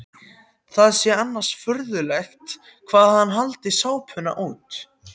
Það sé annars furðulegt hvað hann haldi sápuna út.